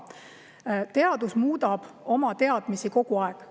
Teaduses muudetakse teadmisi kogu aeg.